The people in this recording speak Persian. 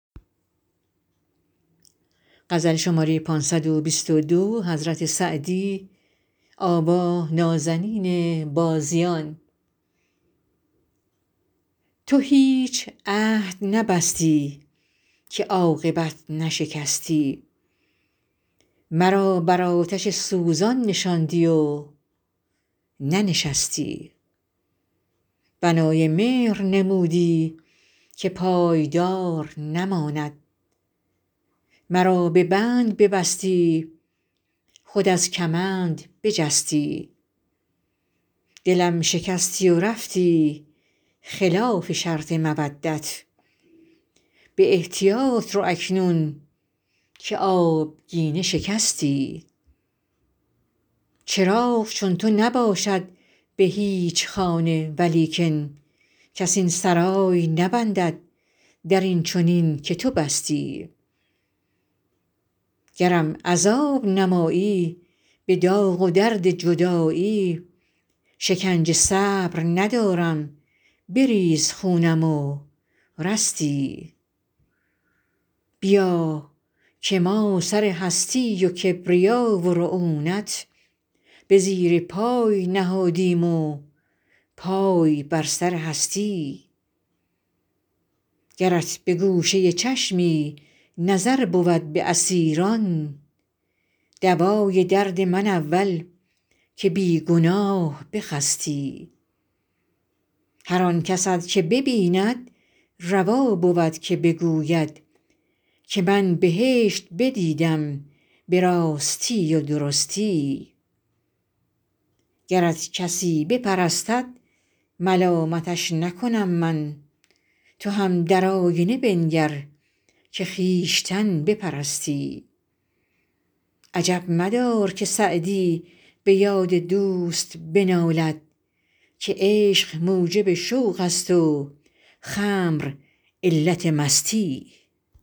تو هیچ عهد نبستی که عاقبت نشکستی مرا بر آتش سوزان نشاندی و ننشستی بنای مهر نمودی که پایدار نماند مرا به بند ببستی خود از کمند بجستی دلم شکستی و رفتی خلاف شرط مودت به احتیاط رو اکنون که آبگینه شکستی چراغ چون تو نباشد به هیچ خانه ولیکن کس این سرای نبندد در این چنین که تو بستی گرم عذاب نمایی به داغ و درد جدایی شکنجه صبر ندارم بریز خونم و رستی بیا که ما سر هستی و کبریا و رعونت به زیر پای نهادیم و پای بر سر هستی گرت به گوشه چشمی نظر بود به اسیران دوای درد من اول که بی گناه بخستی هر آن کست که ببیند روا بود که بگوید که من بهشت بدیدم به راستی و درستی گرت کسی بپرستد ملامتش نکنم من تو هم در آینه بنگر که خویشتن بپرستی عجب مدار که سعدی به یاد دوست بنالد که عشق موجب شوق است و خمر علت مستی